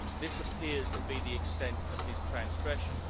This appears to be the extent of his transgression.